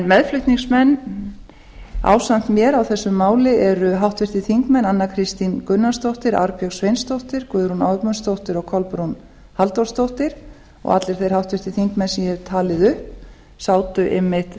meðflutningsmenn ásamt mér á þessu máli eru háttvirtir þingmenn anna kristín gunnarsdóttir arnbjörg sveinsdóttir guðrún ögmundsdóttir og kolbrún halldórsdóttir og allir þeir þingmenn sem ég hef talið upp sátu einmitt